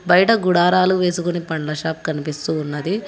బయట గుడారాలు వేసుకొని పండ్ల షాప్ కనిపిస్తూ ఉన్నది